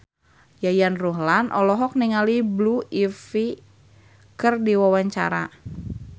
Yayan Ruhlan olohok ningali Blue Ivy keur diwawancara